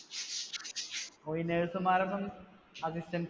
ഓ ഈ nurse മാര്‍ടെ ഒപ്പം assistants